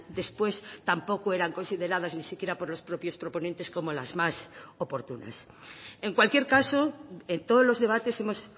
después tampoco eran consideradas ni siquiera por los propios proponentes como las más oportunas en cualquier caso en todos los debates hemos